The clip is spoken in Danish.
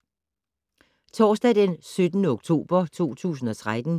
Torsdag d. 17. oktober 2013